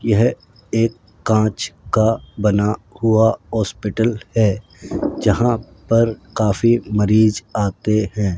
यह एक कांच का बना हुआ हॉस्पिटल है जहां पर काफी मरीज आते हैं।